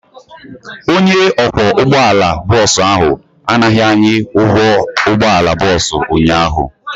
Onye ọkwọ ụgbọala bọọsụ ahụ anaghị anyị ụgwọ ụgbọala bọọsụ ụnyaahụ.